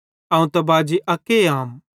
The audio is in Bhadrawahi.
अवं त बाजी अक्के आम